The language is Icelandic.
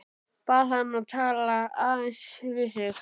Bað hann að tala aðeins við sig.